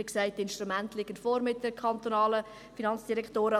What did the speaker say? Wie gesagt: Die Instrumente sind mit der FDK vorhanden;